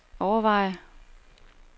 overveje